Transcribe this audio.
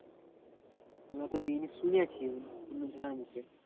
আমিও তো দিই নি শুনেছি অন্য জনের মুখে।